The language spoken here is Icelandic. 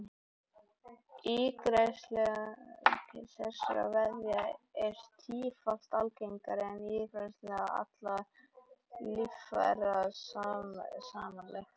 Ígræðsla þessara vefja er yfir tífalt algengari en ígræðsla allra líffæra samanlagt.